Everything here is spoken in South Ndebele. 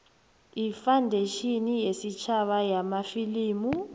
ifandetjhini yesitjhaba yamafilimu